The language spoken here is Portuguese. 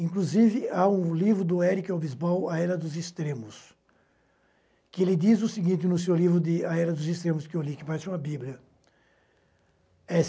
Inclusive, há um livro do Eric Hobsbawm, A Era dos Extremos, que ele diz o seguinte no seu livro de A Era dos Extremos, que eu li, que parece uma bíblia. Eh